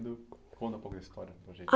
Do conta um pouco a história para a gente.